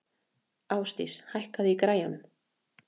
Ásdís, hækkaðu í græjunum.